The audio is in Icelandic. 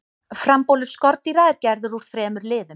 frambolur skordýra er gerður úr þremur liðum